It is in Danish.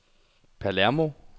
Palermo